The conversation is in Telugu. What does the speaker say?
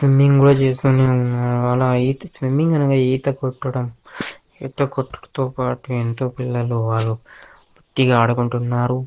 స్విమ్మింగ్ కూడా చేసిన నేను అల అయితే స్విమ్మింగ్ అనగా ఈత కొట్టడం. ఈత కొట్టుడుతో పాటు ఇంట్లో పిల్లలు వారు దిగి ఆడుకుంటున్నారు.